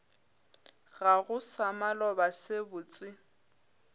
gago sa maloba se botse